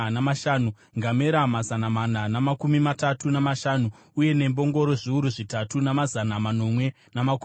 ngamera mazana mana namakumi matatu namashanu uye nembongoro zviuru zvitanhatu namazana manomwe namakumi maviri.